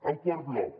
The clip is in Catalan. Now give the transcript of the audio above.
el quart bloc